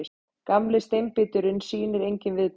Gamli steinbíturinn sýnir engin viðbrögð.